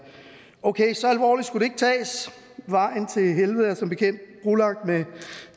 okay så alvorligt skulle det ikke tages vejen til helvede er som bekendt brolagt